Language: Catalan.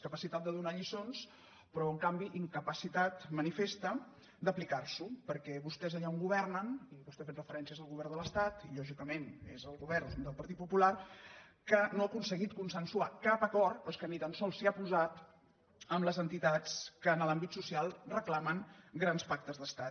capacitat de donar lliçons però en canvi incapacitat manifesta d’aplicar s’ho perquè vostès allà on governen i vostè ha fet referencies al govern de l’estat i lògicament és el govern del partit popular que no ha aconseguit consensuar cap acord però és que ni tan sols s’hi ha posat amb les entitats que en l’àmbit so cial reclamen grans pactes d’estat